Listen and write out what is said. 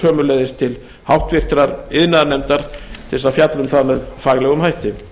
sömuleiðis til háttvirtrar iðnaðarnefndar til þess að fjalla um það með faglegum hætti